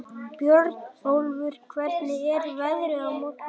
Björnólfur, hvernig er veðrið á morgun?